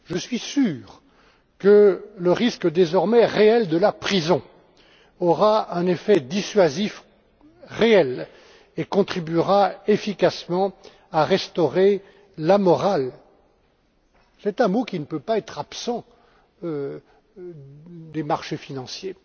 Je suis sûr que le risque désormais réel de la prison aura un véritable effet dissuasif et contribuera efficacement à restaurer la morale c'est un mot qui ne peut pas être absent des marchés financiers.